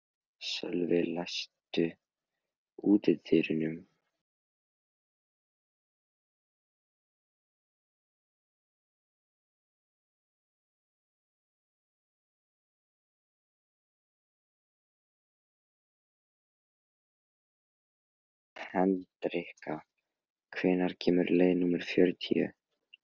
Hendrikka, hvenær kemur leið númer fjörutíu?